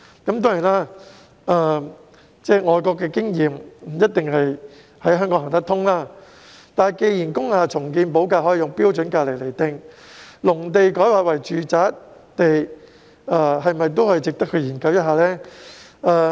當然，外國的經驗在香港不一定行得通，但既然工廈重建補地價可用"標準金額"來釐定，那麼農地改劃為住宅用地是否也可以參考這種做法？